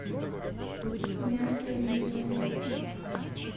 мясо видео